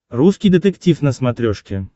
русский детектив на смотрешке